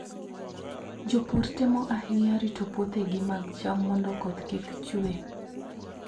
Jopur temo ahinya rito puothegi mag cham mondo koth kik chue.